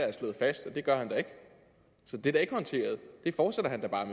er slået fast det gør han da ikke så det er ikke håndteret det fortsætter han da bare